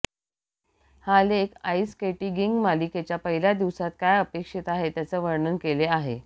हा लेख ice skating मालिकेच्या पहिल्या दिवसात काय अपेक्षित आहे त्याचे वर्णन केले आहे